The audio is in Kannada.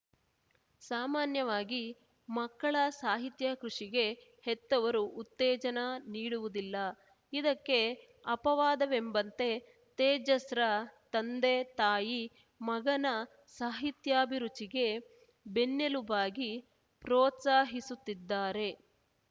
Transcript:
ಸಾಮಾನ್ಯವಾಗಿ ಮಕ್ಕಳ ಸಾಹಿತ್ಯ ಕೃಷಿಗೆ ಹೆತ್ತವರು ಉತ್ತೇಜನ ನೀಡುವುದಿಲ್ಲ ಇದಕ್ಕೆ ಅಪವಾದವೆಂಬಂತೆ ತೇಜಸ್‌ರ ತಂದೆ ತಾಯಿ ಮಗನ ಸಾಹಿತ್ಯಾಭಿರುಚಿಗೆ ಬೆನ್ನೆಲುಬಾಗಿ ಪ್ರೋತ್ಸಾಹಿಸುತ್ತಿದ್ದಾರೆ